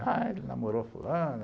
Ah, ele namorou fulano.